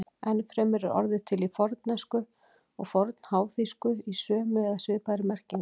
Enn fremur er orðið til í fornensku og fornháþýsku í sömu eða svipaðri merkingu.